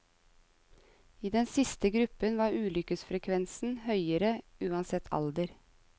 I den siste gruppen var ulykkesfrekvensen høyere, uansett alder.